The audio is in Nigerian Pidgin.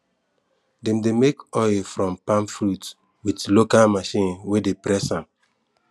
dem de make oil from palm fruit with local machine wey de press am